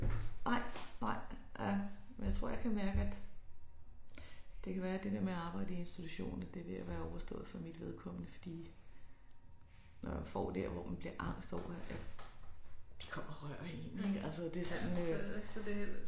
Nej nej ja men jeg tror jeg kan mærke at det kan være det der med at arbejde i institution at det er ved at være overstået for mit vedkommende fordi når jeg får der hvor man bliver angst over at de kommer og rører én altså det sådan øh